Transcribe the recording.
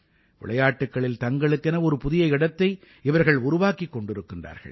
விளையாட்டுக்களில் தங்களுக்கென ஒரு புதிய இடத்தை இவர்கள் உருவாக்கிக் கொண்டிருக்கிறார்கள்